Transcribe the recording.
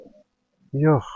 Oğlumu yox.